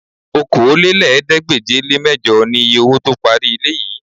Okòólélẹ́ẹ̀ẹ́dégbèje-le-mẹ́jọ niye owó tó parí ilé yìí